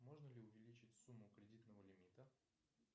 можно ли увеличить сумму кредитного лимита